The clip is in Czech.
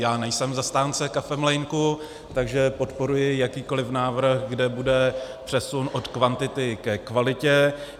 Já nejsem zastánce kafemlýnku, takže podporuji jakýkoliv návrh, kde bude přesun od kvantity ke kvalitě.